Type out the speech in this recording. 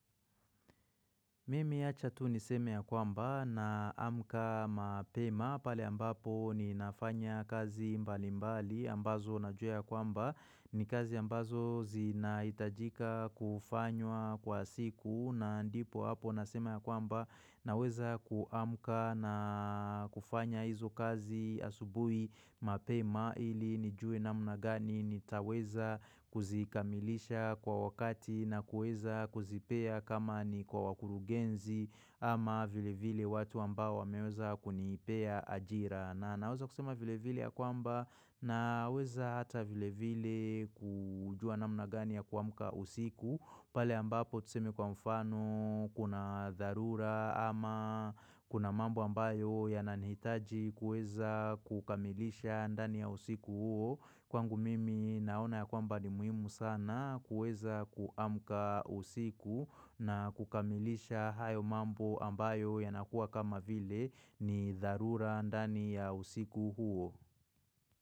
Mimi acha tu niseme ya kwamba naamka mapema pale ambapo ninafanya kazi mbalimbali ambazo najua ya kwamba ni kazi ambazo zinahitajika kufanywa kwa siku na ndipo hapo nasema ya kwamba naweza kuamka na kufanya hizo kazi asubui mapema ili nijue namna gani nitaweza kuzikamilisha kwa wakati na kuweza kuzipea kama ni kwa wakurugenzi. Ama vilevile watu ambao wameweza kunipea ajira. Na naweza kusema vilevile ya kwamba naweza hata vilevile kujua namna gani ya kuamka usiku, pale ambapo tuseme kwa mfano kuna dharura ama kuna mambo ambayo yananihitaji kuweza kukamilisha ndani ya usiku huo Kwangu mimi naona ya kwamba ni muhimu sana kuweza kuamka usiku na kukamilisha hayo mambo ambayo yanakuwa kama vile ni dharura ndani ya usiku huo.